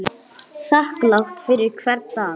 Þakklát fyrir hvern dag.